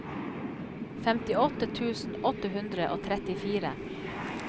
femtiåtte tusen åtte hundre og trettifire